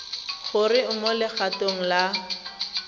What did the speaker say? gore o mo legatong la